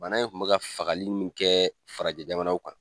Bana in kun bɛ ka fagali mun kɛ farajɛ jamanaw kan.